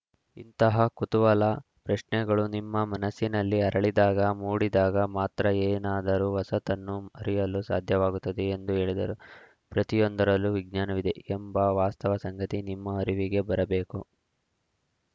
ಇಂತಹ ಕುತೂಹಲ ಪ್ರಶ್ನೆಗಳು ನಿಮ್ಮ ಮನಸ್ಸಿನಲ್ಲಿ ಅರಳಿದಾಗ ಮೂಡಿದಾಗ ಮಾತ್ರ ಏನಾದರೂ ಹೊಸತನ್ನು ಅರಿಯಲು ಸಾಧ್ಯವಾಗುತ್ತದೆ ಎಂದು ಹೇಳಿದರು ಪ್ರತಿಯೊಂದರಲ್ಲೂ ವಿಜ್ಞಾನವಿದೆಯೆಂಬ ವಾಸ್ತವ ಸಂಗತಿ ನಿಮ್ಮ ಅರಿವಿಗೆ ಬರಬೇಕು